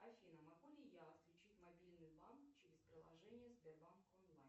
афина могу ли я отключить мобильный банк через приложение сбербанк онлайн